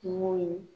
Kungo ye